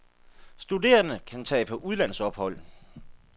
Studerende kan tage på udlandsophold.